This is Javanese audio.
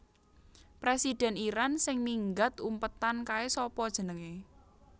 Presiden Iran sing minggat umpetan kae sapa jenenge